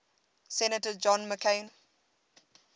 senator john mccain